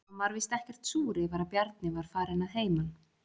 Hún var víst ekkert súr yfir að Bjarni var farinn að heiman.